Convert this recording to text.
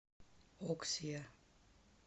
оксиа